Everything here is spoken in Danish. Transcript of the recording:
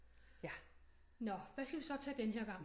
Nå hvad skal vi så tage denne her gang